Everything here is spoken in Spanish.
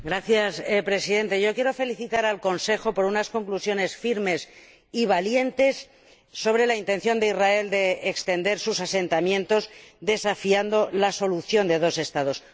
Señor Presidente, quiero felicitar al Consejo por sus conclusiones firmes y valientes sobre la intención de Israel de extender sus asentamientos desafiando la solución de dos Estados.